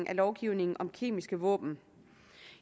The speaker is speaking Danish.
af lovgivningen om kemiske våben